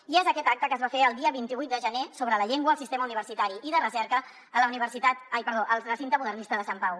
i és aquest acte que es va fer el dia vint vuit de gener sobre la llengua al sistema universitari i de recerca al recinte modernista de sant pau